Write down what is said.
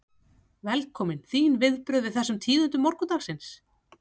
Velkominn, þín viðbrögð við þessum tíðindum morgunsins?